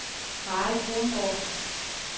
Mary Kronborg